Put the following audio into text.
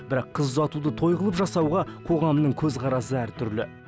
бірақ қыз ұзатуды той қылып жасауға қоғамның көзқарасы әртүрлі